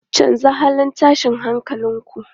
Canza halin tashin hankalin ku!